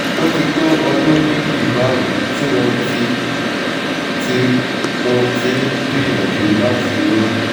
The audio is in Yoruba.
ó ti tó ọdún méjì báyìí tí mo ti tí mo ti ń gbìyànjú láti lóyún